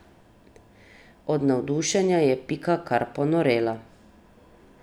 Od navdušenja je Pika kar ponorela.